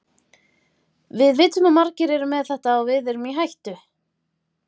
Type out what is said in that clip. Við vitum að margir eru með þetta og við erum í hættu.